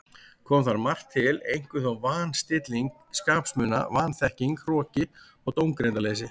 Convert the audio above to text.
Kom þar margt til, einkum þó van- stilling skapsmuna, vanþekking, hroki og dómgreindarleysi.